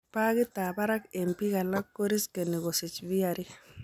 Pagit ab barak eng' biik alak koriskeni kosich VRE